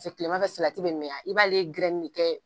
Kilemafɛ salati bɛ mɛn i b'ale ne kɛ